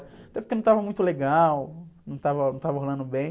Até porque não estava muito legal, não estava, não estava rolando bem.